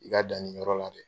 I ka dan nin yɔrɔ la dɛ.